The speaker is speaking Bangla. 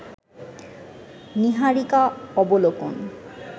নীহারিকা অবলোকন